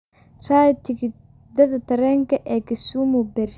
raadi tigidhada tareenka ee Kisumu berri